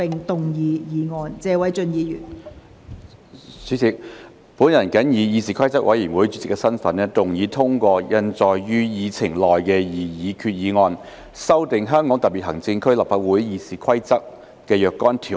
代理主席，本人謹以議事規則委員會主席的身份，動議通過印載於議程內的擬議決議案，修訂《香港特別行政區立法會議事規則》的若干條文。